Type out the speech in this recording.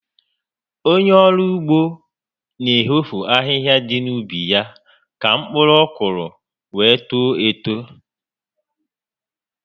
Ònye ọrụ ugbo n'eho ahịhịa dị na ubi ya ka mkpụrụ ọkụrụ were too etoo